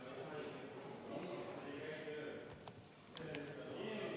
Head kolleegid, vaheaeg on lõppenud.